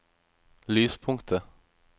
lyspunktet